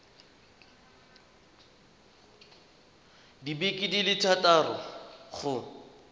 dibeke di le thataro go